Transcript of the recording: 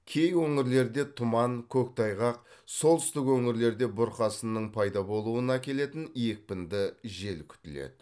кей өңірлерде тұман көктайғақ солтүстік өңірлерде бұрқасынның пайда болуына әкелетін екпінді жел күтіледі